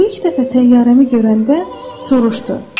O ilk dəfə təyyarəmi görəndə soruşdu: